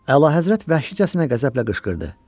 Əlahəzrət vəhşicəsinə qəzəblə qışqırdı: